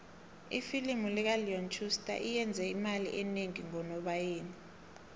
ifilimu kaleon schuster iyenze imali enengi ngonobayeni